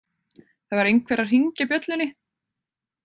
Það var einhver að hringja bjöllunni.